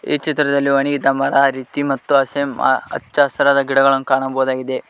ಈ ಚಿತ್ರದಲ್ಲಿ ಒಣಗಿದ ಮರ ರೀತಿ ಮತ್ತು ಹಸೆಮ್ ಹ ಹಚ್ಛಹಸಿರಾದ ಗಿಡಗಳನ್ನು ಕಾಣಬಹುದಾಗಿದೆ.